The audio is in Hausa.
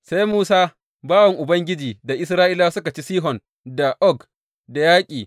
Sai Musa, bawan Ubangiji da Isra’ilawa suka ci Sihon da Og da yaƙi.